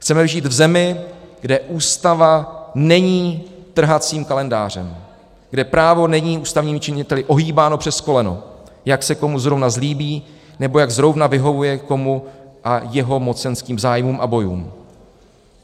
Chceme žít v zemi, kde ústava není trhacím kalendářem, kde právo není ústavními činiteli ohýbáno přes koleno, jak se komu zrovna zlíbí, nebo jak zrovna vyhovuje jemu a jeho mocenským zájmům a bojům.